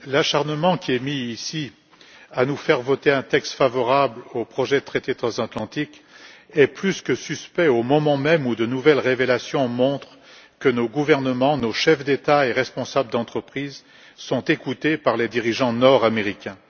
Madame la Présidente, l'acharnement qui est mis ici à nous faire voter un texte favorable au projet de traité transatlantique est plus que suspect, au moment même où de nouvelles révélations montrent que nos gouvernements, nos chefs d'État et nos chefs d'entreprise sont écoutés par les dirigeants nord américains.